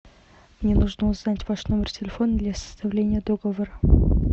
мне нужно узнать ваш номер телефона для составления договора